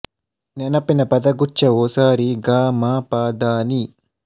ನೆನಪಿನ ಪದಗುಚ್ಛವು ಸ ರಿ ಗ ಮ ಪ ದ ನಿ